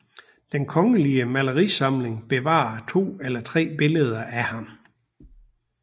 Den Kongelige Malerisamling bevarer 2 eller 3 billeder af ham